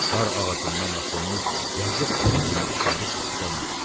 Dar ağacından asılmış yazıq bir günahkarı ipdən açdı.